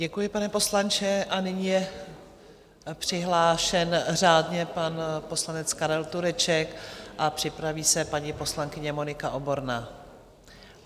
Děkuji, pane poslanče, a nyní je přihlášen řádně pan poslanec Karel Tureček a připraví se paní poslankyně Monika Oborná.